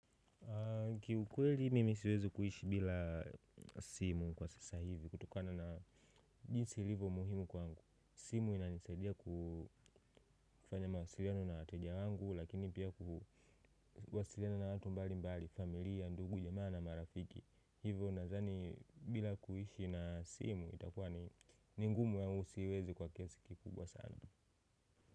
Ki ukweli mimi siwezi kuishi bila simu kwa sasa hivi kutokana na jinsi ilivyo muhimu kwangu simu ina nisaidia kufanya mawasiliano na wateja wangu lakini pia kuhu kuwasiliana na watu mbalimbali familia ndugu jamaa na marafiki hivo nadhani bila kuishi na simu itakuwa ni ngumu kwangu siwezi kwa kiasi kikubwa sana.